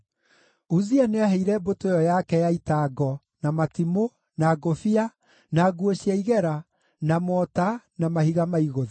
Uzia nĩaheire mbũtũ ĩyo yake ya ita ngo, na matimũ, na ngũbia, na nguo cia igera, na mota na mahiga ma igũtha.